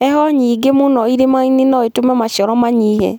Heho nyingĩ mũno iĩmainĩ noĩtũme maciaro manyihe.